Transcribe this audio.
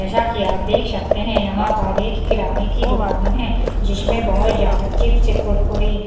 जैसा कि आप देख सकते हैं यहाँ पर एक किराने की दुकान है जिसमें बहुत ज़्यादा चिप्स कुरकुरे --